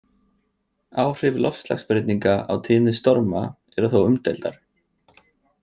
Áhrif loftslagsbreytinga á tíðni storma eru þó umdeildar.